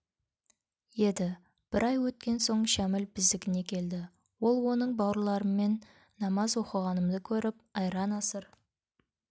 еді бір ай өткен соң шәміл біздікіне келді ол оның бауырларыммен намаз оқығанымды көріп айран-асыр